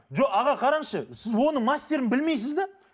жоқ аға қараңызшы сіз оның мастерін білмейсіз де